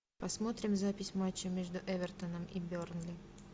посмотрим запись матча между эвертоном и бернли